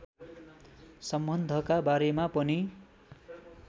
सम्बन्धका बारेमा पनि